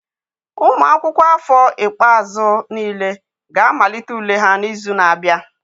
Ụmụ akwụkwọ afọ ikpeazụ niile ga-amalite ule ha n'izu na-abịa.